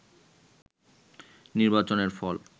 নির্বাচনের ফল